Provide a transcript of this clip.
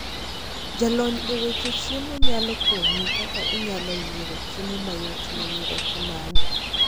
Jalony e weche chiemo nyalo konyi kaka inyalo yiero chiemo mayot ne nyiroke magi.